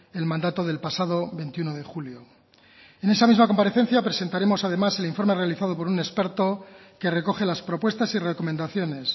el mandato del pasado veintiuno de julio en esa misma comparecencia presentaremos además el informe realizado por un experto que recoge las propuestas y recomendaciones